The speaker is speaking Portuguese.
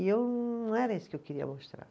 E eu não era isso que eu queria mostrar.